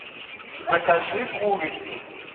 закажи курицу